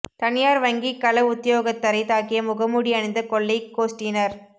தனியார் வங்கி கள உத்தியோகத்தரைத் தாக்கிய முகமூடி அணிந்த கொள்ளைக் கோஸ்டியினர்